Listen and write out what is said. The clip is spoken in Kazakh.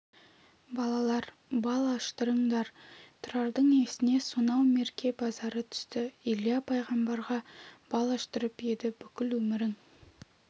балалар бал аштырыңдар тұрардың есіне сонау мерке базары түсті илья пайғамбарға бал аштырып еді бүкіл өмірің